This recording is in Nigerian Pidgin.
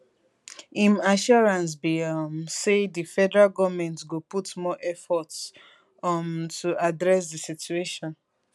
im assurance be um say di federal goment go put more efforts um to address di situation